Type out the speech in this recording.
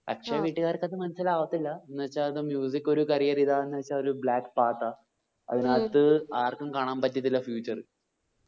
അച്ഛൻ വീട്ട്കാർക്ക് അത് മനസ്സിലാവതില്ല എന്ന് വെചാത് ഒരു career ഇതാന്ന് വെച്ച ഒരു black part ആ അതിനാത് ആർക്കും കാണാൻ പറ്റത്തില്ല future